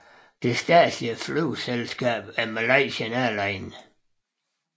Det statslige flyselskab er Malaysia Airlines